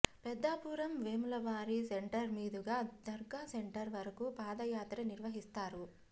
పెద్దాపురం వెములవారి సెంటర్ మీదుగా దర్గా సెంటర్ వరకు పాదయాత్ర నిర్వహిస్తారు